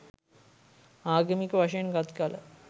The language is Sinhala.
ආගමික වශයෙන් ගත් කළ